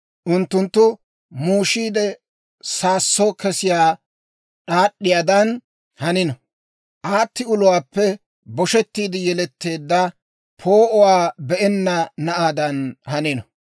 Unttunttu muushiide saasso kesiyaa d'aad'd'iyaadan hanino; aatti uluwaappe boshettiide yeletteedda, poo'uwaa be'enna na'aadan hanino.